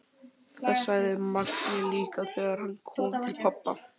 Það sagði Mangi líka þegar hann kom til pabba.